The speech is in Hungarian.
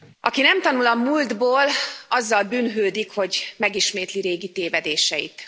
Aki nem tanul a múltból, azzal bűnhődik, hogy megismétli régi tévedéseit.